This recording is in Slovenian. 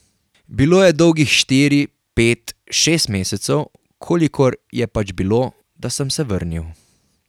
Bilo je dolgih štiri, pet, šest mesecev, kolikor je pač bilo, da sem se vrnil.